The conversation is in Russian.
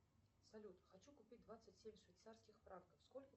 салют хочу купить двадцать семь швейцарских франков сколько